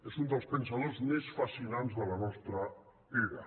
és un dels pensadors més fascinants de la nostra era